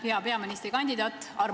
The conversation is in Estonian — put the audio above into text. Hea peaministrikandidaat!